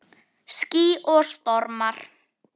Ský og stormar